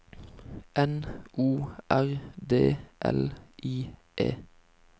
N O R D L I E